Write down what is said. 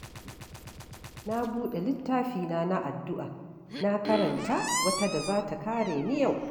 Na buɗe littafina na addu’a, na karanta wata da za ta kare ni yau.